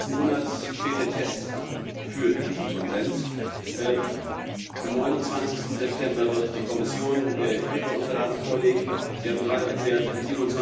Ende des Monats steht der Test für diesen Konsens an. Am 29. September wird die Kommission ihre Unterlagen vorlegen. Sie haben gerade erklärt, am